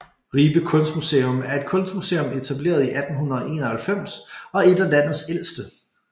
Ribe Kunstmuseum er et kunstmuseum etableret i 1891 og ét af landets ældste